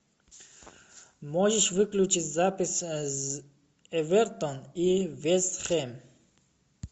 можешь выключить запись эвертон и вест хэм